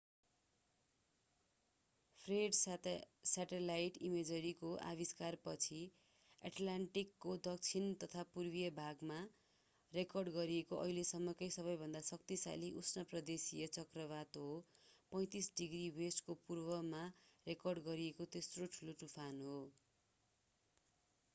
Fred satellite इमेजरीको आविष्कारपछि एटलान्टिकको दक्षिण तथा पूर्वी भागमा रेकर्ड गरिएको अहिलेसम्मकै सबैभन्दा शक्तिशाली उष्ण प्रदेशीय चक्रवात हो र 35°w को पूर्वमा रेकर्ड गरिएको तेस्रो ठुलो तुफान हो।